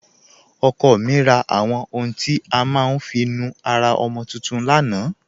Ọkọ mi rà àwọn ọ̀hùn tí a má n fi nú ara ọmọ tuntun lánà.